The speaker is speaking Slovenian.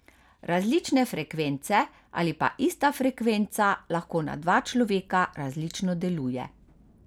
Različne frekvence ali pa ista frekvenca lahko na dva človeka različno deluje.